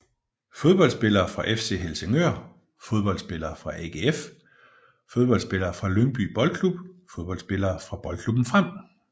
Fodboldspillere fra FC Helsingør Fodboldspillere fra AGF Fodboldspillere fra Lyngby Boldklub Fodboldspillere fra Boldklubben Frem